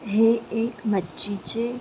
हे एक मच्छी चे--